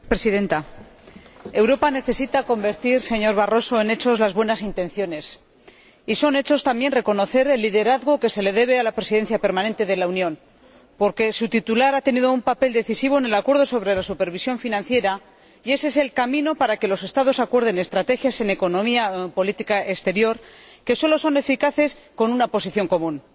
Señora Presidenta, Europa necesita convertir, señor Barroso, en hechos las buenas intenciones, y es un hecho también reconocer el liderazgo que se le debe a la Presidencia permanente de la Unión, porque su titular ha tenido un papel decisivo en el acuerdo sobre la supervisión financiera, y ése es el camino para que los Estados acuerden estrategias en economía y política exterior, que solo son eficaces con una posición común